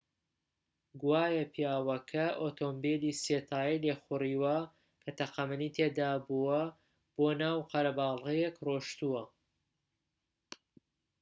گوایە پیاوەکە ئۆتۆمبێلی سێ تایەی لێخوڕیوە کە تەقەمەنی تێدا بووە بۆ ناو قەرەباڵغییەک ڕۆیشتووە